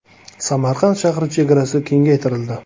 Samarqand shahri chegarasi kengaytirildi.